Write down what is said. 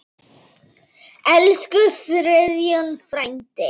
Elsku Friðjón frændi.